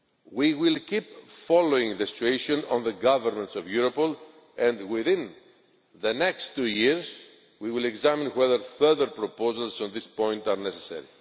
We will keep following the situation on the governance of Europol, and within the next two years we will examine whether further proposals on this point are necessary.